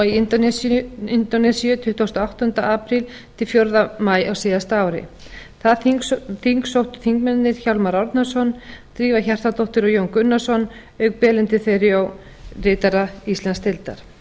í nusadua í indónesíu tuttugasta og áttunda apríl til fjórða maí á síðasta ári það þing sóttu þingmennirnir hjálmar árnason drífa hjartardóttir og jón gunnarsson auk belindu theriault ritara íslandsdeildar